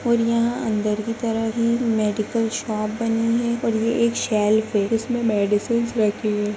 और यहां अंदर की तरफ ही मेडिकल शॉप बनी है और ये एक उसमें मेडिसिंस रखी हुई है।